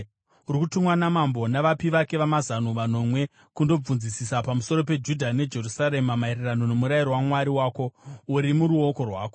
Uri kutumwa namambo navapi vake vamazano vanomwe kundobvunzisisa pamusoro peJudha neJerusarema maererano noMurayiro waMwari wako, uri muruoko rwako.